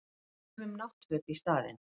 Við saumum náttföt í staðinn